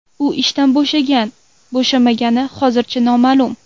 U ishdan bo‘shagan-bo‘shamagani hozircha noma’lum.